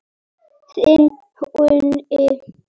Þinn Húni.